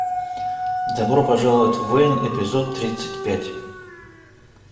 добро пожаловать в вэйн эпизод тридцать пять